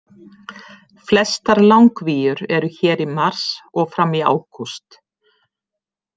Flestar langvíur eru hér í mars og fram í ágúst.